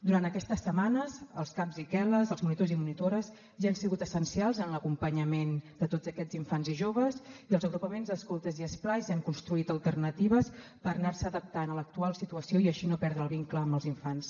durant aquestes setmanes els caps i quel·les els monitors i monitores ja han sigut essencials en l’acompanyament de tots aquests infants i joves i els agrupaments escoltes i esplais han construït alternatives per anarse adaptant a l’actual situació i així no perdre el vincle amb els infants